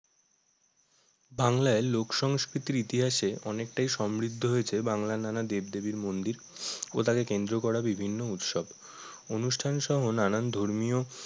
বাংলায় লোক সংস্কৃতির ইতিহাসে অনেকটাই সমৃদ্ধ হয়েছে বাংলার নানা দেবদেবীর মন্দির ও তাকে কেন্দ্র করে বিভিন্ন উৎসব অনুষ্ঠান সহ নানান ধর্মীয়